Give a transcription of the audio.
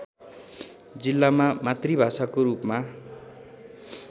जिल्लामा मातृभाषाको रूपमा